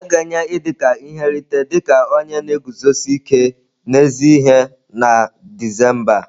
A ga-enye Idika ihe nrite dị ka onye na-eguzosi ike n'ezi ihe na Disemba a.